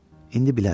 İndi bilərəm.